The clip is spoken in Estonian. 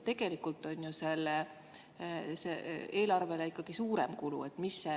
Tegelikult on see eelarvele ikkagi suurem kulu.